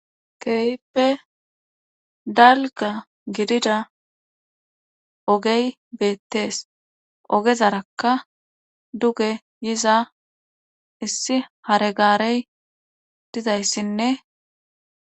Keehippe dalgga gidida oge beetees.ogezaraka duge yiza issi hare gaare dizayssinne